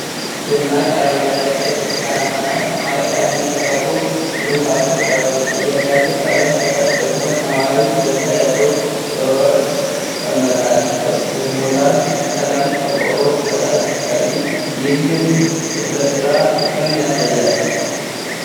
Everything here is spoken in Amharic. ደማቅ አረንጓዴ፣ ቀይ፣ ብርቱካናማ እና ሰማያዊ ቀለም የተቀቡ ግርፋቶች አሉ። ከእያንዳንዱ ቀለም በታች ደግሞ ሰማያዊ እጀታ ያለው ሮለር ይቀመጣል። ሶስት የሙራል ቀለም ቆርቆሮዎች ከታች ሲታዩ፣ ይህም ለስራ ፍቅርን ያሳያል።